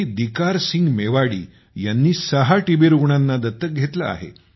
दिकार सिंग मेवाडी यांनी सहा टीबी रुग्णांना दत्तक घेतले आहे